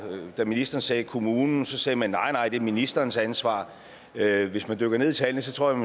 da ministeren sagde kommunens sagde man nej nej det var ministerens ansvar hvis man dykker ned i tallene tror jeg